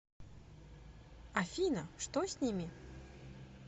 афина что с ними